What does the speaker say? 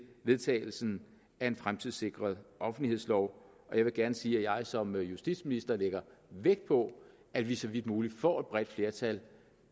vedtagelsen af en fremtidssikret offentlighedslov og jeg vil gerne sige at jeg som justitsminister lægger vægt på at vi så vidt muligt får et bredt flertal